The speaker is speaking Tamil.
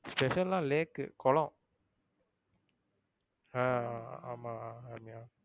special ன்னா lake குளம் ஆஹ் ஆமா ரம்யா.